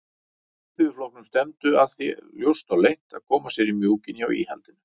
Alþýðuflokknum stefndu að því ljóst og leynt að koma sér í mjúkinn hjá íhaldinu.